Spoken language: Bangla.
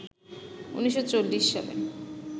১৯৪০ সালে